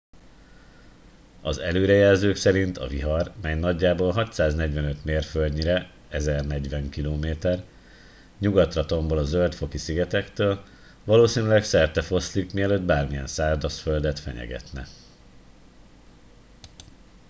az előrejelzők szerint a vihar mely nagyjából 645 mérföldnyire 1040 km nyugatra tombol a zöld-foki szigetektől valószínűleg szertefoszlik mielőtt bármilyen szárazföldet fenyegetne